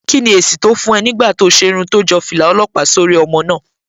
Kí ni èsì tó fún ẹ nígbà tí o ṣe irun tó jọ fìlà ọlọ́pàá sórí ọmọ náà?